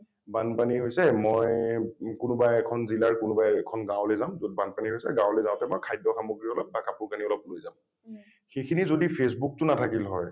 বানপানী হৈছে মই কোনোবা এখন জিলাৰ কোনোবা এখন গাঁৱলে যাম যত বানপানী হৈছে । গাঁৱলৈ যাওঁতে মই খাদ্য সামগ্ৰী খিনি অলপ বা কাপোৰ কানি অলপ লৈ যাম । সেইখিনি যদি facebook টো নাথাকিল হয়